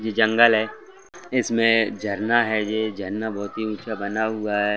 ये जंगल है इसमें झरना है ये झरना बहुत ही ऊँचा बना हुआ हैं।